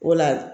Wala